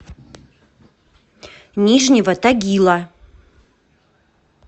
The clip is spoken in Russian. нижнего тагила